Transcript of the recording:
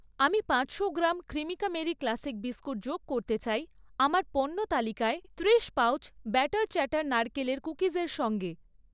আমি পাঁচশো gram Cremica marie classic biscuit যোগ করতে চাই আমার পণ্য তালিকায় ত্রিশ পাউচ ব্যাটার চ্যাটার নারকেলের কুকিজের সঙ্গে।